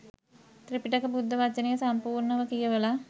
ත්‍රිපිටක බුද්ධ වචනය සම්පූර්ණව කියවලා